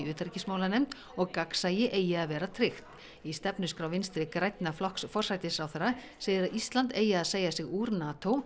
utanríkismálanefnd og gagnsæi eigi að vera tryggt í stefnuskrá Vinstri grænna flokks forsætisráðherra segir að Ísland eigi að segja sig úr